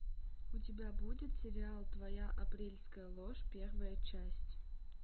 у тебя будет сериал твоя апрельская ложь первая часть